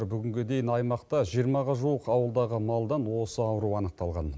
бүгінге дейін аймақта жиырмаға жуық ауылдағы малдан осы ауру анықталған